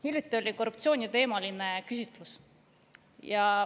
Hiljuti tehti korruptsiooniteemaline küsitlus.